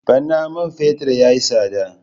Bana man fetur ya yi tsada.